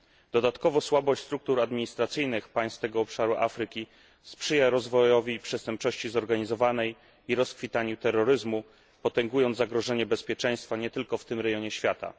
Dodatkowo słabość struktur administracyjnych państw tego obszaru Afryki sprzyja rozwojowi przestępczości zorganizowanej i rozkwitowi terroryzmu, potęgując zagrożenie bezpieczeństwa nie tylko w tym rejonie świata.